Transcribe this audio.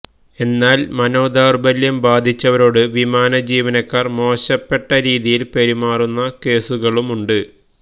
എന്നാല് മനോദൌര്ബല്യം ബാധിച്ചവരോട് വിമാനജീവനക്കാര് മോശപ്പെട്ട രീതിയില് പെരുമാറുന്ന കേസുകളുണ്ട്